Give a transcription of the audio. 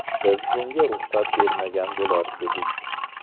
Biz bunga ruxsat bermagan bo‘lar edik.